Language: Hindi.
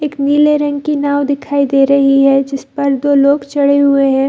एक नीले रंग की नाव दिखाई दे रही है जिस पर दो लग चढ़े हुए हैं।